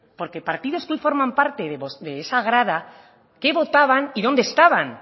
porque partidos que hoy forman parte de esa grada qué votaban y dónde estaban